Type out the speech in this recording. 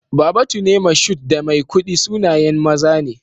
Babatune, Moshood, da Maikudi sunayen maza ne.